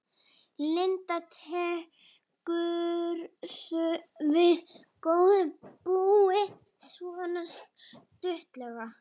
Linda: Tekurðu við góðu búi, svona stuttlega?